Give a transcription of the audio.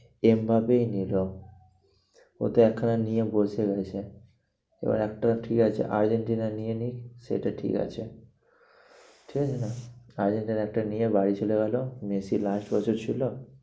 এমবাপেই নিলো ও তো একখানা নিয়ে বসে রয়েছে। এবার একটা ঠিক আছে আর্জেন্টিনা নিয়ে নিক সেটা ঠিক আছে। ঠিক আছে না, আর্জেন্টিনা একটা নিয়ে বাড়ি চলে গেলো। মেসি last বছর ছিল